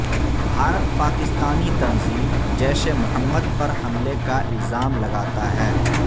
بھارت پاکستانی تنظیم جیش محمد پر حملے کا الزام لگاتا ہے